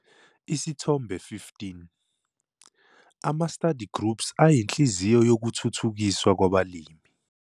Isithombe 1 5- Ama-Study groups ayinhliziyo yokuthuthukiswa kwabalimi.